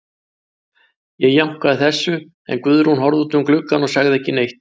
Ég jánkaði þessu, en Guðrún horfði út um gluggann og sagði ekki neitt.